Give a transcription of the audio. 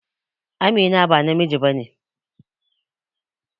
Amina ba namiji ba ne.